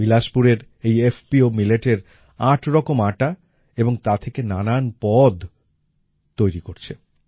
বিলাসপুরের এই এফপিও মিলেটের আটরকম আটা এবং তা থেকে নানান পদ তৈরি করছে